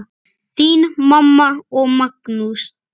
Þín mamma og Magnús.